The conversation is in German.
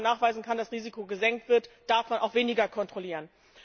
Wo man nachweisen kann, dass das Risiko gesenkt wird, darf man auch weniger kontrollieren.